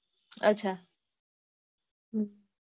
અચ્છા હમ